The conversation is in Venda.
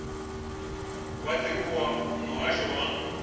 wa dzingu wa muhasho wa